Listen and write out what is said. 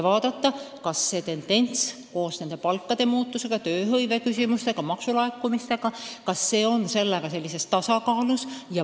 Tuleks vaadata palkade muutust, tööhõiveküsimusi, maksulaekumisi – kas seal on kõik tasakaalus.